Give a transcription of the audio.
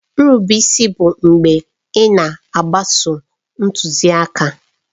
Nrube isi bụ mgbe ị na-agbaso ntuziaka.